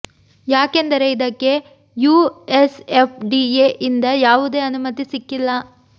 ಯಾಕೆಂದರೆ ಇದಕ್ಕೆ US F D A ಯಿಂದ ಯಾವುದೇ ಅನುಮತಿ ಸಿಕ್ಕಿಲ್ಲ